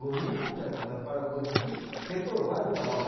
Gonin está certo, mas eu falo gohiki, reprovado na hora.